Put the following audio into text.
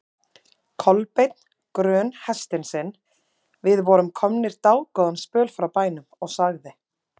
Kolbeinn grön hestinn sinn, við vorum komnir dágóðan spöl frá bænum, og sagði